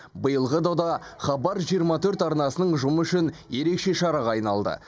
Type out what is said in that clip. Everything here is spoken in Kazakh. биылғы дода хабар жиырма төрт арнасының ұжымы үшін ерекше шараға айналды